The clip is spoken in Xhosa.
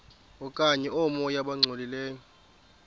okanye oomoya abangcolileyo